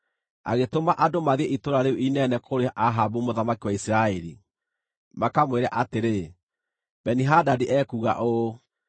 Agĩtũma andũ mathiĩ itũũra rĩu inene kũrĩ Ahabu mũthamaki wa Isiraeli, makamwĩre atĩrĩ, “Beni-Hadadi ekuuga ũũ: